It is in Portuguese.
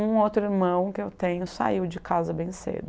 um outro irmão que eu tenho saiu de casa bem cedo.